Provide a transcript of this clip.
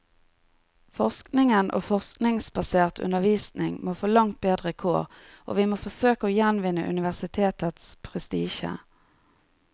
Forskningen og forskningsbasert undervisning må få langt bedre kår, og vi må forsøke å gjenvinne universitetets prestisje.